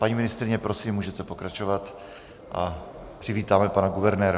Paní ministryně, prosím, můžete pokračovat a přivítáme pana guvernéra.